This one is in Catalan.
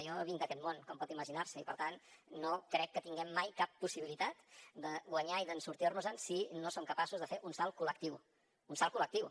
jo vinc d’aquest món com pot imaginar se i per tant no crec que tinguem mai cap possibilitat de guanyar i de sortir nos en si no som capaços de fer un salt col·lectiu un salt col·lectiu